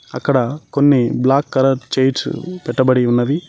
అక్కడ కొన్ని black colour chairs పెట్టబడి ఉన్నవి.